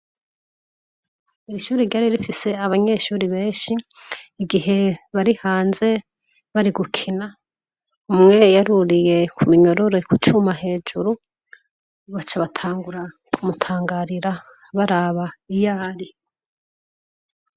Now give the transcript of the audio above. Irishuri ryari rifise abanyeshuri benshi igihe bari hanze barigukina umwe y aruriye ku minyorore ku cuma hejuru, bacabatangura kumutangarira baraba iyari.